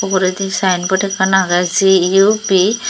uguredi saenbot ekkan agey CUB.